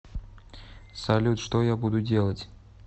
салют что я буду делать